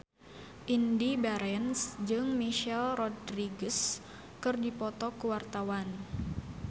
Indy Barens jeung Michelle Rodriguez keur dipoto ku wartawan